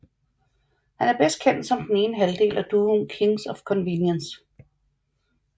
Han er bedst kendt som den ene halvdel af duoen Kings of Convenience